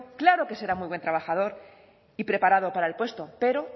claro que será muy buen trabajador y preparado para el puesto pero